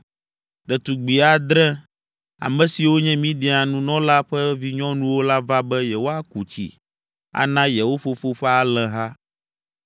Ɖetugbi adre, ame siwo nye Midian nunɔla ƒe vinyɔnuwo la va be yewoaku tsi ana yewo fofo ƒe alẽha.